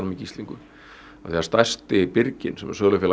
í gíslingu af því stærsti birginn sem er sölufélag